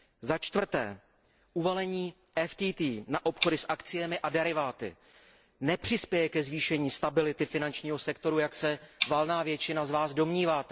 Za čtvrté, uvalení DFT na obchody s akciemi a deriváty nepřispěje ke zvýšení stability finančního sektoru, jak se valná většina z vás domnívá.